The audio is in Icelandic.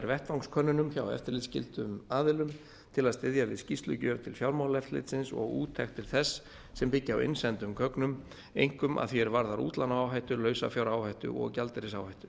vettvangskönnunum hjá eftirlitsskyldum aðilum til að styðja við skýrslugjöf til fjármálaeftirlitsins og úttektir þess sem byggja á innsendum gögnum einkum að því er varðar útlánaáhættu lausafjáráhættu og gjaldeyrisáhættu